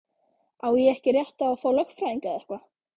Á ég ekki rétt á að fá lögfræðing eða eitthvað?